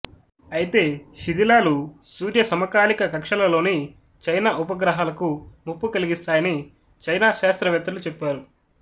అయితే శిధిలాలు సూర్యసమకాలిక కక్ష్యలలోని చైనా ఉపగ్రహాలకు ముప్పు కలిగిస్తాయని చైనా శాస్త్రవేత్తలు చెప్పారు